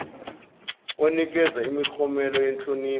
onikeza imiklomelo yenhlonipho